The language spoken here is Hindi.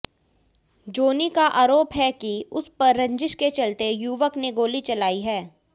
जोनी का आरोप है कि उस पर रंजिश के चलते युवक ने गोली चलाई है